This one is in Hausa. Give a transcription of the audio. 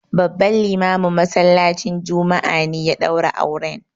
Babban limamin masallacin juma'a ne ya ɗaura auren.